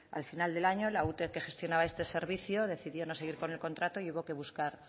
al final del año la ute que gestionaba este servicio decidió no seguir con el contrato y hubo que buscar